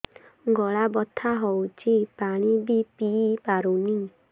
ଗଳା ବଥା ହଉଚି ପାଣି ବି ପିଇ ପାରୁନି